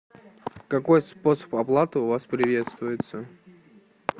какой способ оплаты у вас приветствуется